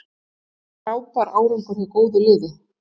Þetta var frábær árangur hjá góðu liði.